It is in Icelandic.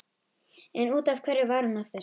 En út af hverju var hún að þessu?